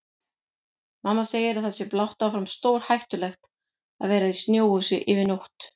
Mamma segir að það sé blátt áfram stórhættulegt að vera í snjóhúsi yfir nótt.